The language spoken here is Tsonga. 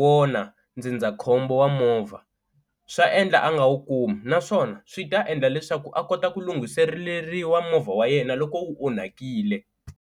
wona ndzindzakhombo wa movha swa endla a nga wu kumi naswona swi ta endla leswaku a kota ku lunghiseleriwa movha wa yena loko wu onhakile.